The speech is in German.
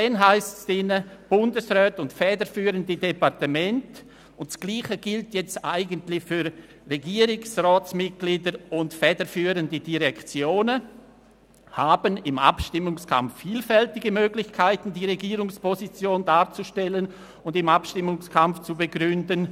Es steht: Bundesräte und federführende Departemente «haben im Abstimmungskampf vielfältige Möglichkeiten, die Regierungsposition darzustellen und im Abstimmungskampf zu begründen.